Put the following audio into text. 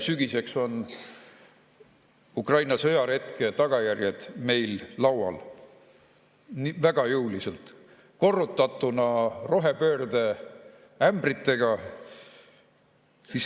Sügiseks on Ukraina-sõjaretke tagajärjed meil laual väga jõuliselt, korrutatuna rohepöörde ämbritega.